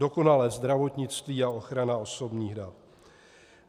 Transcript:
Dokonalé zdravotnictví a ochrana osobních dat.